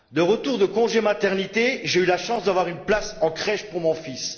De retour de congé de maternité, j'ai eu la chance d'avoir une place en crèche pour mon fils.